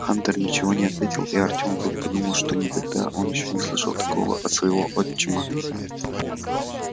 хантер ничего не отвечал и артём вдруг подумал что никогда он ещё не слышал такого от своего отчима